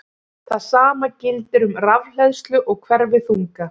Það sama gildir um rafhleðslu og hverfiþunga.